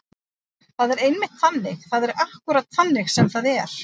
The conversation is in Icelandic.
Það er einmitt þannig. það er akkúrat þannig sem það er.